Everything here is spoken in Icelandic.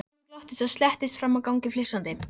Simmi glotti og slettist fram á gang flissandi.